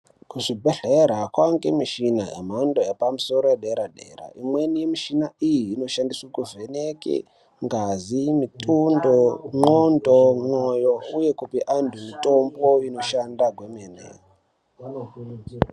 Kuzvibhedhlera kwaangemushina yemhando yepamusoro yederadera. Imweni yemishina iyi inoshandiswe kuvheneke ngazi, mitundo, ndxondo, mwoyo, uye kupe antu mitombo inoshanda kwemene.